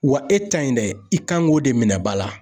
Wa e ta in dɛ, i kan k'o de minɛ ba la.